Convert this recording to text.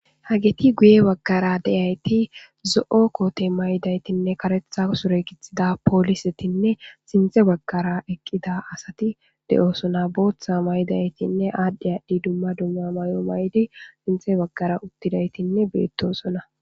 Hageyi guye bagara diyati zoo kote mayo mayidayitinne kareththa sure gixida poliseti sinththe bagara eqqidda asati de'osona.boththa mayidayitinne adhdhi adhdhi dumma dumma mayo mayidd sinththe bagara uttidayitt betosona.